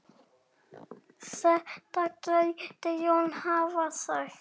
Þetta gæti Jón hafa sagt.